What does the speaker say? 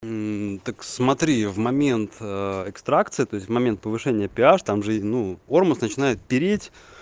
так смотри в момент экстракция то есть в момент повышения пи аш там же ну ормус начинает переть